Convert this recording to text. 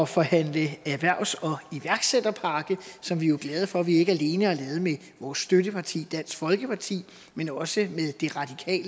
forhandle en erhvervs og iværksætterpakke som vi jo er glade for at vi ikke alene har lavet med vores støtteparti dansk folkeparti men også